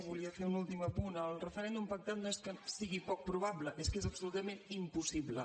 volia fer un últim apunt el referèndum pactat no és que sigui poc probable és que és absolutament impossible